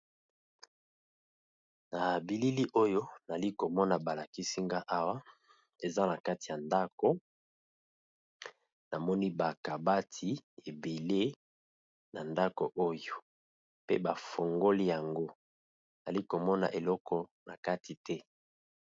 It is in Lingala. Na bilili oyo nali ko mona ba lakisi nga awa eza na kati ya ndako na moni ba kabati ébélé na ndako oyo pe ba fongoli yango nali ko mona eloko na kati te .